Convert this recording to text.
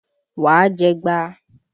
Wá jẹgba!